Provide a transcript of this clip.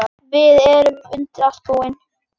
Við erum undir allt búin.